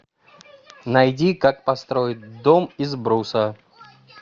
найди как построить дом из бруса